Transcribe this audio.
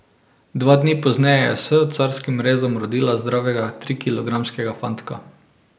Dva dni pozneje je s carskim rezom rodila zdravega trikilogramskega fantka.